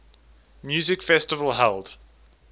music festival held